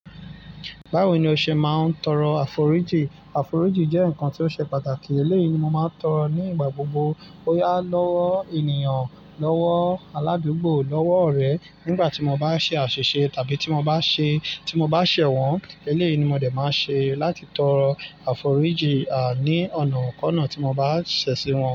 Báwo ni o ṣe máa ń tọrọ àforíjì? Àforíjì jẹ́ ǹkan tí ó ṣe pàtàkì, eléyi ni mo má ń tọrọ ní ìgbà gbogbo. Bóyá lọ́wọ́ ènìyàn, lọ́wọ́ aládùgbò, lọ́wọ́ ọ̀rẹ́. Nígbà tí mo bá ṣe àṣìṣe tàbí tí mo bá ṣe, tí mo bá ṣẹ̀ wọ́n, eléyi ni mo dẹ̀ má ṣe láti tọrọ àforíjì a, ní ọ̀nàkọ́nà tí mo bá ṣẹ̀ sí wọn.